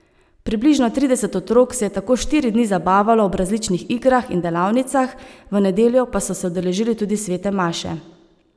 Približno trideset otrok se je tako štiri dni zabavalo ob različnih igrah in delavnicah, v nedeljo pa so se udeležili tudi svete maše.